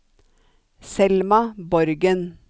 Selma Borgen